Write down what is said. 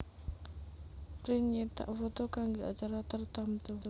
Print nyétak foto kanggé acara tartamtu